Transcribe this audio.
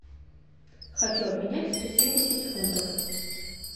хочу обменять сто семьдесят фунтов